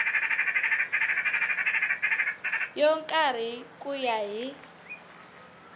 yo karhi ku ya hi